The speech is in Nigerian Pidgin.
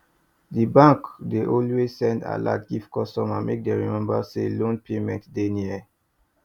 di bank dey always send alert give customers make dem remember say loan payment dey near